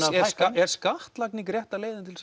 hækka er skattlagning rétta leiðin til